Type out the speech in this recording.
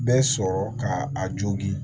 Bɛɛ sɔrɔ ka a jogin